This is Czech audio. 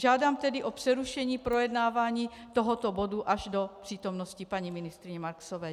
Žádám tedy o přerušení projednávání tohoto bodu až do přítomnosti paní ministryně Marksové.